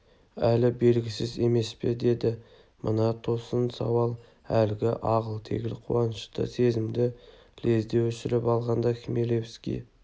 әлі белгісіз емес пе деді мына тосын сауал әлгі ағыл-тегіл қуанышты сезімді лезде өшіріп алғандай хмелевский